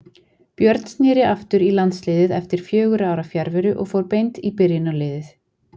Björn snéri aftur í landsliðið eftir fjögurra ára fjarveru og fór beint í byrjunarliðið.